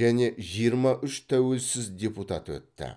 және жиырма үш тәуелсіз депутат өтті